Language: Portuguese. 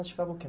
Praticava o que